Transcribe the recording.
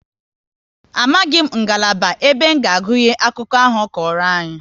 Amaghị ngalaba ebe nga agụnye akụkọ ahụ ọ kọrọ anyị